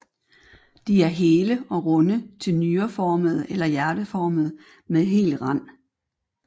De er hele og runde til nyreformede eller hjerteformede med hel rand